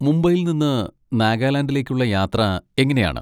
മുംബൈയിൽ നിന്ന് നാഗാലാൻഡിലേക്കുള്ള യാത്ര എങ്ങനെയാണ്?